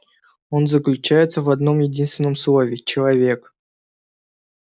он заключается в одном-единственном слове человек